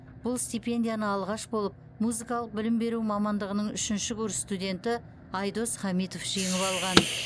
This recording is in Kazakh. бұл стипендияны алғаш болып музыкалық білім беру мамандығының үшінші курс студенті айдос хамитов жеңіп алған